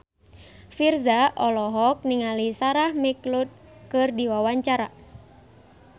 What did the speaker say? Virzha olohok ningali Sarah McLeod keur diwawancara